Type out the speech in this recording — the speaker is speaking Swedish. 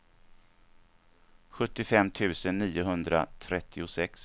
sjuttiofem tusen niohundratrettiosex